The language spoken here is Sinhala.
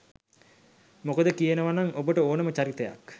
මොකද කියනවනම් ඔබට ඕනම චරිතයක්